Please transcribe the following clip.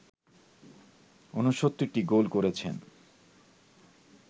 ৬৯টি goal করেছেন